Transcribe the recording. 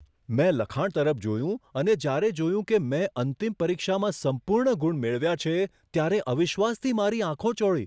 મેં લખાણ તરફ જોયું અને જ્યારે જોયું કે મેં અંતિમ પરીક્ષામાં સંપૂર્ણ ગુણ મેળવ્યા છે, ત્યારે અવિશ્વાસથી મારી આંખો ચોળી.